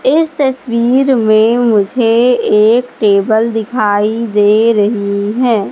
इस तस्वीर में मुझे एक टेबल दिखाई दे रही है।